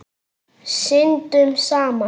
Syndum saman.